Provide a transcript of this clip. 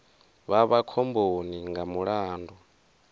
vha vha khomboni nga mulandu